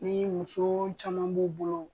Ni muso caman b'u bolo